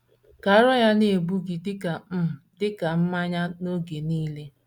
Ka ara ya na - egbu gị dị ka um dị ka um mmanya n’oge niile.